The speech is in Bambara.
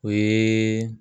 O yee